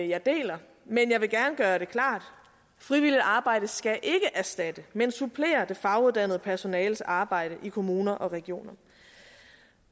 jeg deler men jeg vil gerne gøre det klart frivilligt arbejde skal ikke erstatte men supplere det faguddannede personales arbejde i kommuner og regioner